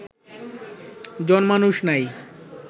জন-মানুষ নাই